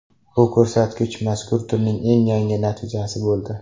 Bu ko‘rsatkich mazkur turning eng yaxshi natijasi bo‘ldi.